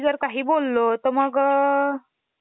Memory हां. Primary storage ज्याला म्हणतो आपण.